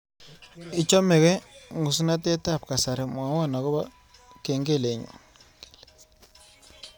Ichamegee ngusnatetab kasari mwawon agoba kengelenyu